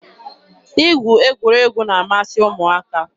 Igwu egwuregwu na-amasị ụmụaka.